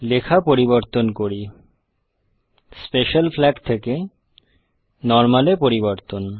লেখা পরিবর্তন করি স্পেশাল ফ্লাগ থেকে নরমাল -এ পরিবর্তন